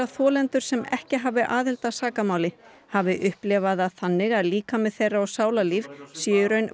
þolendur sem ekki hafi aðild að sakamáli hafi upplifað það þannig að líkami þeirra og sálarlíf séu í raun